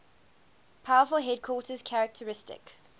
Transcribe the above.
powerful hindquarters characteristic